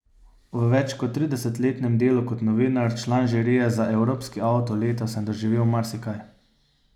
V več kot tridesetletnem delu kot novinar, član žirije za evropski avto leta, sem doživel marsikaj.